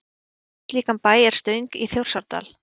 Dæmi um slíkan bæ er Stöng í Þjórsárdal.